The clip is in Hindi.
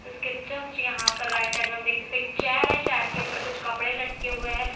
इसके जस्ट यहां पर राइट साइड में आप देख सकते हैं एक चेयर है चेयर के ऊपर कुछ कपड़े लटके हुए हैं।